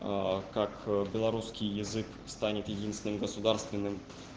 как белорусский язык станет единственным государственным